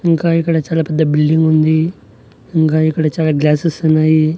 ఇంకా ఇక్కడ చాలా పెద్ద బిల్డింగ్ ఉంది ఇంకా ఇక్కడ చాలా గ్లాసెస్ ఉన్నాయి.